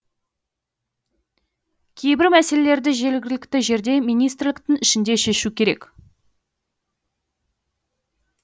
кейбір мәселелерді жергілікті жерде министрліктің ішінде шешу керек